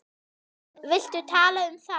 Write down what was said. Viltu tala um það?